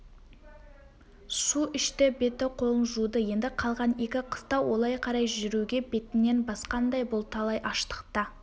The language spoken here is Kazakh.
су ішті беті-қолын жуды енді қалған екі қыстау олай қарай жүруге бетінен басқандай бұл талай аштықта